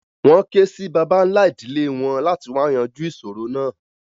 Wọ́n ké sí bàbá ńlá ìdílẹ̀ wọn láti wá yànjú ìṣòro náà.